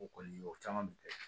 O kɔni o caman bɛ kɛ